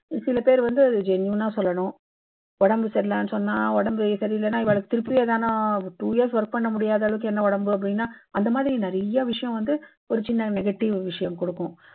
சில பேர் வந்து genuine னா சொல்லணும். உடம்பு சரி இல்லைன்னு சொன்னா, உடம்பு சரி இல்லைன்னா இவாளுக்கு திருப்பி எதுனா two years work பண்ண முடியாதபடி என்ன உடம்பு அப்பிடீன்னு அந்த மாதிரி நிறைய விஷயம் வந்து ஒரு சின்ன negative விஷயம் குடுக்கும்.